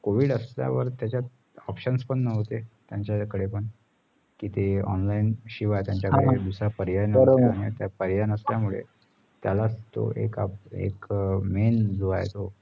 Covid असल्यावर त्याचात options पण नव्हते त्याचं कडे पण किती online शिवाय त्याचा कडे दुसरा पर्याय नसल्या मुळे त्याला तो एक main जो आहे तो